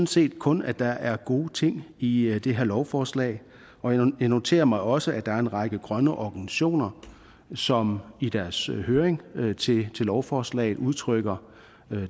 set kun at der er gode ting i det her lovforslag og jeg noterer mig også at der er en række grønne organisationer som i deres høring til lovforslaget udtrykker